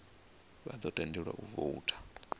vha ḓo tendelwa u voutha